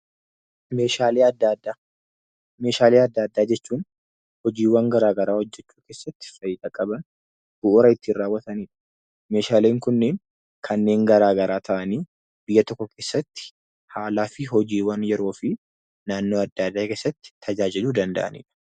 Meeshaalee adda addaaa . Meeshaalee adda addaa jechuun hojiiwwan garaa garaa hojjechuu keessatti faayidaa qaban bu'uura ittiin raawwatanidha. Meeshaaleen kunneen kanneen garaa garaa ta'anii biyya tokko keessatti haalaa fi hojiiwwan yeroo fi naannoo adda addaa keessatti tajaajiluu danda'anidha.